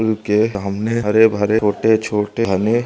पुल के सामने हरे भरे छोटे छोटे --